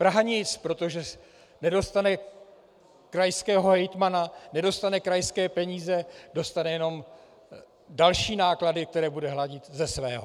Praha nic, protože nedostane krajského hejtmana, nedostane krajské peníze - dostane jenom další náklady, které bude hradit ze svého.